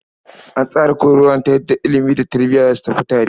An tsara koyarwa ne ta yadda ilimi da tarbiya za su tafi tare.